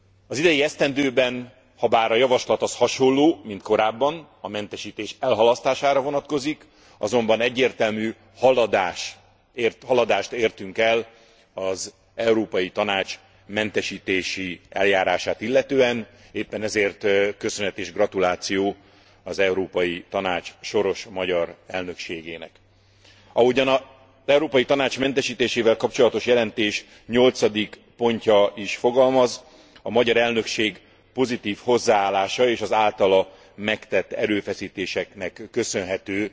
Az idei esztendőben, habár a javaslat az hasonló, mint korábban a mentesítés elhalasztására vonatkozik azonban egyértelmű haladást értünk el az Európai Tanács mentesítési eljárását illetően, éppen ezért köszönet és gratuláció az Európai Tanács soros magyar elnökségének. Ahogyan az Európai Tanács mentesítésével kapcsolatos jelentés nyolcadik pontja is fogalmaz, a magyar elnökség pozitív hozzáállásának, és az általa megtett erőfeszítéseknek köszönhető